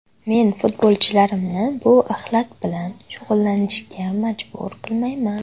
Men futbolchilarimni bu axlat bilan shug‘ullanishga majbur qilmayman.